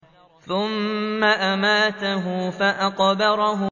ثُمَّ أَمَاتَهُ فَأَقْبَرَهُ